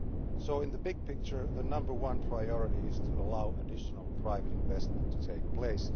So in the big picture, the number one priority is to allow additional private investment to take place.